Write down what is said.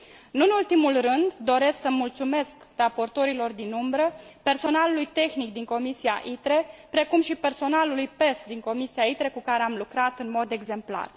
Nu în ultimul rând, doresc să mulțumesc raportorilor din umbră, personalului tehnic din Comisia ITRE, precum și personalului PESC din Comisia ITRE cu care am lucrat în mod exemplar.